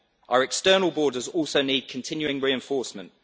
Our external borders also need continuing reinforcement.